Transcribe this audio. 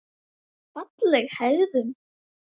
Fagleg hegðun.